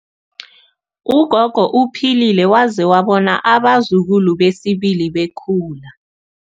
Ugogo uphilile waze wabona abazukulu besibili bekhula.